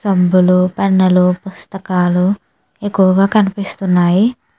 సంబులుపెనులు పుస్తకాలు ఎక్కువగా కనిపిస్తున్నాయి.